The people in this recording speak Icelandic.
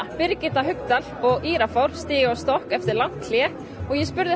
Birgitta Haukdal og Írafár stíga á stokk eftir langt hlé ég spurði